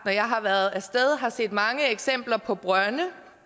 når jeg har været af sted har jeg set mange eksempler på brønde